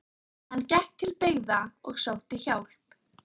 Hann gekk til byggða og sótti hjálp.